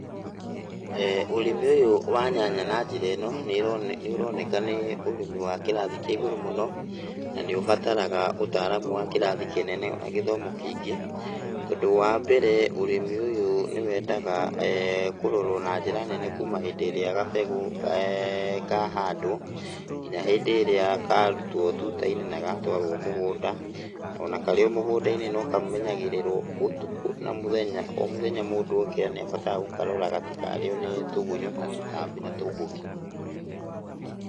Ũrĩmi ũyũ wa nyanya na njĩra ĩno nĩ ĩro, nĩ ũroneka nĩ ũrĩmi wa kĩrathi kĩa igũrũ mũno na nĩ ũbataraga ũtaaramu wa kĩrathi kĩnene ona gĩthomo kĩingĩ, tondũ wambere ũrĩmi ũyũ nĩwendaga kũrorwo na njĩra nene kuuma hĩndĩ ĩrĩa gabegũ kahandwo, nginya hĩndĩ ĩrĩa karutwo tuta-inĩ na gatwarwo mũgunda. Ona karĩ o mũgunda-inĩ nokamenyagĩrĩrwo ũtukũ na mũthenya, o mũthenya mũndũ okĩra nĩ abataraga gũkarora gatikarĩywo nĩ tũgunyũ, na tũtambi na tũmbũki.